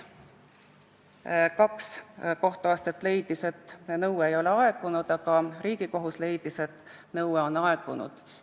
Kaks kohtuastet leidsid, et nõue ei ole aegunud, aga Riigikohus leidis, et nõue on aegunud.